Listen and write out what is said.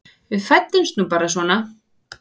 Við fæddumst nú bara svona.